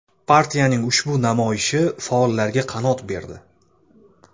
Partiyaning ushbu namoyishi faollarga qanot berdi.